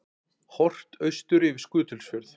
Horft austur yfir Skutulsfjörð.